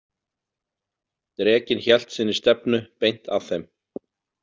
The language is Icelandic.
Drekinn hélt sinni stefnu beint að þeim.